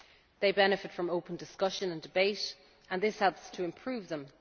They benefit from open discussion and debate and this helps to improve them.